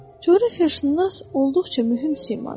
Coğrafiyaşünas olduqca mühüm şeydir.